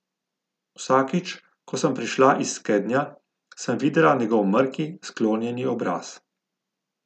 Vsakič, ko sem prišla iz skednja, sem videla njegov mrki, sklonjeni obraz.